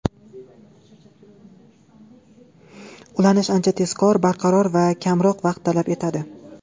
Ulanish ancha tezkor, barqaror va kamroq vaqt talab etadi.